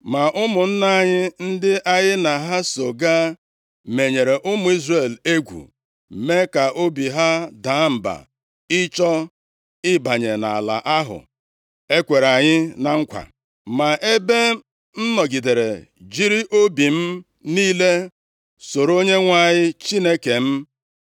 Ma ụmụnna anyị, ndị anyị na ha so gaa, menyere ụmụ Izrel egwu, mee ka obi ha daa mba ịchọ ịbanye nʼala ahụ e kwere anyị na nkwa. Ma ebe m nọgidere jiri obi m niile soro Onyenwe anyị Chineke m,